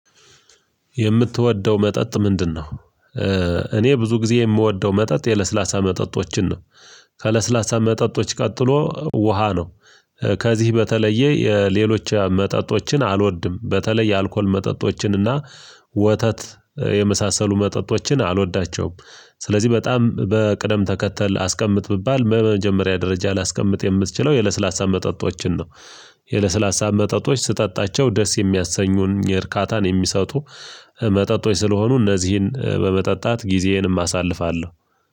የምትወደው መጠጥ ምንድነው? እኔ ብዙ ጊዜ የምወደው መጠጥ የለስላሳ መጠጦችን ነው። ከለስላሳ መጠጦች ቀጥሎ ውሃ ነው። ከዚህ በተለየ የሌሎች መጠጦችን አልወድም በተለይ የአልኮል መጠጦችን እና ወተት የመሳሰሉ መጠጦችን አልወዳቸውም። ስለዚህ በጣም በቅደም ተከተል አስቀምጥ ብባል በመጀመሪያ ደረጃ ላስቀምጥ የምትችለው የለስላሳ መጠጦችን ነው። የለስላሳ መጠጦች ስጠጣቸው ደስ የሚያሰኙን የእርካታን የሚሰጡ መጠጥ ስለሆኑ እነዚህን በመጠጣት ጊዜዬንም አሳልፋለሁ።